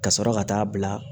Ka sɔrɔ ka taa bila